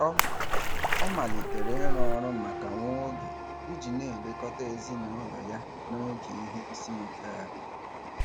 Ọ Ọ malitere ịrụ ọrụ maka nwa oge iji na-elekọta ezinaụlọ ya n'oge ihe isiike a.